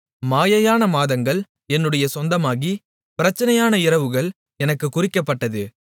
மாயையான மாதங்கள் என்னுடைய சொந்தமாகி பிரச்சனையான இரவுகள் எனக்குக் குறிக்கப்பட்டது